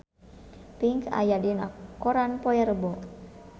Pink aya dina koran poe Rebo